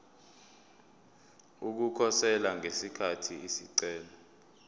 ukukhosela ngesikhathi isicelo